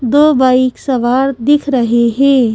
दो बाइक सवार दिख रहे हैं।